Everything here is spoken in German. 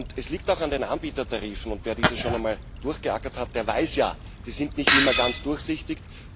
Es liegt auch an den Anbietertarifen, und wer diese schon einmal durchgeackert hat, der weiß ja Die sind nicht immer ganz durchsichtig.